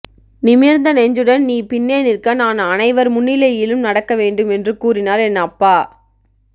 நிமிர்ந்த நெஞ்சுடன் நீ பின்னே நிற்க நான் அனைவர் முன்னிலையிலும் நடக்க வேண்டும் என்று கூறினார் என் அப்பா